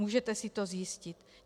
Můžete si to zjistit.